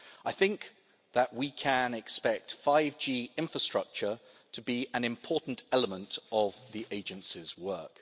I think that we can expect 5G infrastructure to be an important element of the Agency's work.